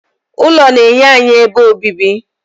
ụlọ na-enye anyị ebe obibi